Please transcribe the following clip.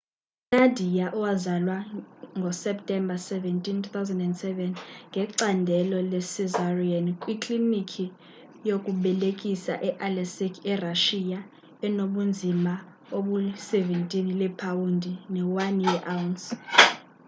unadia owazalwa ngo-septemba 17 2007 ngecandelo le-cesarean kwiklinikhi yokubelekisa e-aleisk erashiya enobunzima obuli-17 leepawundi ne 1 awunsi